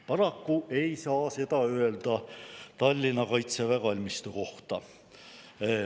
Paraku ei saa seda öelda Tallinna kaitseväe kalmistu kohta.